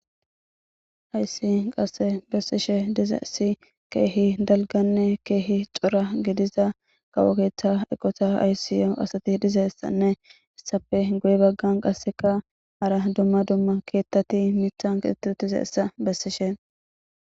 Haysi qasse bessishe diza si keehi dalganne keehi cora gidiza qawokeeththa eqota ayssiyo asati dizessanne issafe goy baggan qasseka ara dumma dumma keettati mithan qixttizessa bessishe.